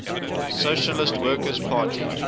socialist workers party